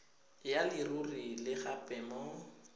ya leruri le gape mo